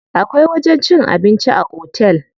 Akwai wajen cin abinci a otel.